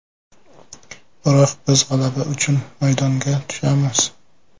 Biroq biz g‘alaba uchun maydonga tushamiz.